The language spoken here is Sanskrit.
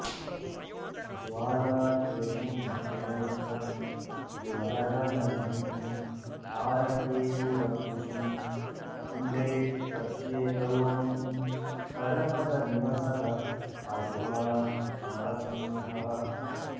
ज्वालाकेशं त्रिनेत्रं ज्वलदनलनिभं हारकेयूरभूषं वन्दे प्रत्येकरूपं परपदनिवसः पातु मां नारसिंहः